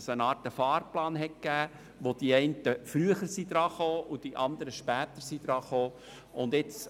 Es gab eine Art Fahrplan, wobei die einen Gemeinden früher und die anderen später an der Reihe waren.